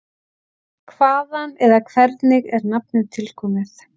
Hvaðan eða hvernig er nafnið tilkomið?